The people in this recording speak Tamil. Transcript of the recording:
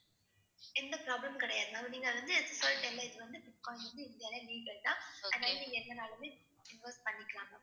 எந்த problem மும் கிடையாது ma'am நீங்க அதை வந்து இது வந்து பிட்காயின் வந்து இந்தியால legal தான். அதனால நீங்க எவ்ளோனாலுமே invest பண்ணிக்கலாம் ma'am.